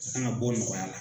An kan ka bɔ nɔgɔya la